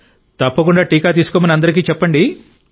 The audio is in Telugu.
తప్పకుండా టీకా తీసుకొమ్మని అందరికీ చెప్పండి